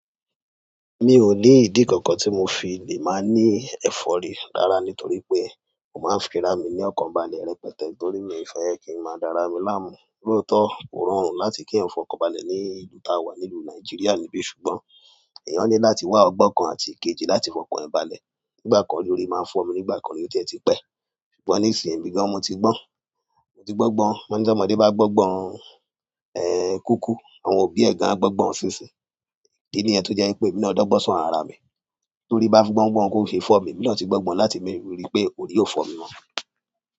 Mi ò ní ìdí kankan tí mo fi lè máa ní ẹ̀fọ́rí rára nítorí pé mó máa ń fira mi ní ọkọ̀ bálẹ̀ rẹpẹtẹ torí mi fẹ́ kí i máa dára mí láàmú. Lótọ̀ ó rọrùn láti kí ẹeyàn fọ ọkọ̀ bálẹ̀ ní ìlú tá a wà, ní ìlú Nàìjíríà níbi ṣùgbọ́n èèyàn ní láti wá ọgbọ́n kan àti ikejì láti fọ ọkọ̀ bálẹ̀. Nígbà kan lórí máa n fọ̀ mí, nígbà kan ni ó dẹ ti pẹ̀. Ṣùgbọ́n nísìyí, èmì gàn mo ti gbọ́n. Mo ti gbọ́gbọ́n. Wọ́n ní tí ọmọdé bá gbọ́gbọ́n, ẹ́ kúkú, àwọn òbí ẹ̀ gan a gbọ́gbọ́n ó ṣinṣin. Idi nì ẹ to jẹ pé emi náà dọ́gbọ́n sọ̀rọ̀ ara mi torí bá gbọ́n gbọ́n kó fi fọ̀ mí, emi náà ti gbọ́gbọ́n láti gbè, rí pé òrí ó fọ̀ mí mọ́.